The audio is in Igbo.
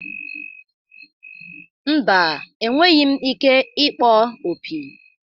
Mba, enweghị m ike ịkpọ opi.